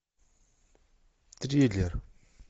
триллер